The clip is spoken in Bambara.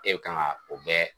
E bi k'an ka o bɛɛ